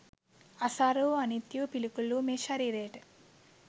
අසාර වූ අනිත්‍ය වූ පිළිකුල් වූ මේ ශරීරයට